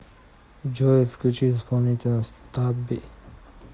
джой включи исполнителя стабби